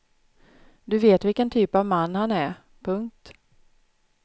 Du vet vilken typ av man han är. punkt